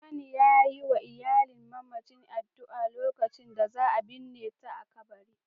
Liman ya yi wa iyalin mamacin addu'a a lokacin da za a binne ta a kabari